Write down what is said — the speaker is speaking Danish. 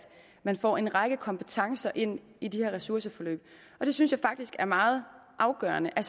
man får en række kompetencer ind i de her ressourceforløb jeg synes faktisk det er meget afgørende at